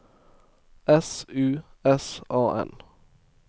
S U S A N